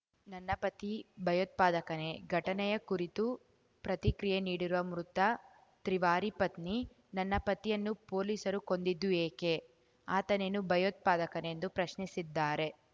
ನನ್ನ ಪತಿ ಭಯೋತ್ಪಾದಕನೇ ಘಟನೆಯ ಕುರಿತು ಪ್ರತಿಕ್ರಿಯೆ ನೀಡಿರುವ ಮೃತ ತ್ರಿವಾರಿ ಪತ್ನಿ ನನ್ನ ಪತಿಯನ್ನು ಪೊಲೀಸರು ಕೊಂದಿದ್ದು ಏಕೆ ಆತನೇನು ಭಯೋತ್ಪಾಕನೇ ಎಂದು ಪ್ರಶ್ನಿಸಿದ್ದಾರೆ